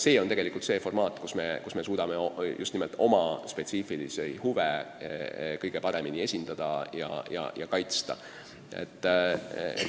See on see formaat, kus me suudame oma spetsiifilisi huve kõige paremini esindada ja kaitsta.